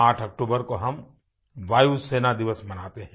8 अक्टूबर को हम वायुसेना दिवस मनाते हैं